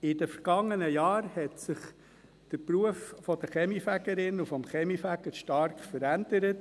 In den vergangenen Jahren hat sich der Beruf der Kaminfegerin und des Kaminfegers stark verändert.